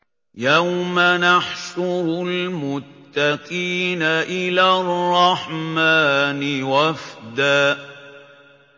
يَوْمَ نَحْشُرُ الْمُتَّقِينَ إِلَى الرَّحْمَٰنِ وَفْدًا